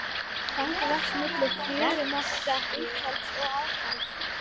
Þang vex milli fjörumarka aðfalls og útfalls.